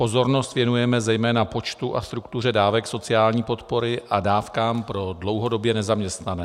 Pozornost věnujeme zejména počtu a struktuře dávek sociální podpory a dávkám pro dlouhodobě nezaměstnané.